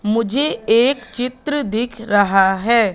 मुझे एक चित्र दिख रहा है।